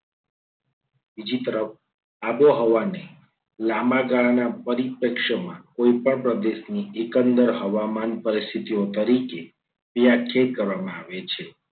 બીજી તરફ આબોહવાને લાંબા ગાળાના પરિપ્રેક્ષણમાં કોઈપણ પ્રદેશની એકંદર હવામાનની પરિસ્થિતિઓ તરીકે વ્યાખ્યાયિત કરવામાં આવે છે.